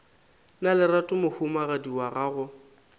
na lerato mohumagadi wa gago